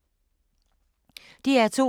DR2